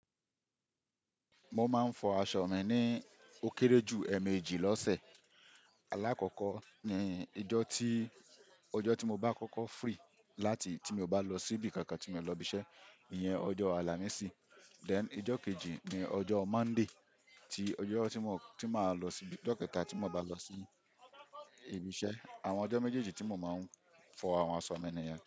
Mo máa ń fọ aṣọ mi ní ó kéré jù ẹẹ̀mejì lọ́sẹ̀. Alákọ̀kọ́ ni ijọ́ tí-- ọjọ́ tí mo bá kọ́kọ́ free láti tí mo bá lọ síbi kankan tí mo lọ ibi iṣẹ́, ìyẹn ọjọ́ Àlàmísì. Then ijọ́ kejì ni ọjọ́ Monday, tí ọjọ́ tí mò-- tí màá lọ síbi, ọjọ́ kẹta tí mo bá lọ sí ibi iṣẹ́. Àwọn ọjọ́ méjèèjì tí mo máa ń fọ àwọn aṣọ mi nìyẹn.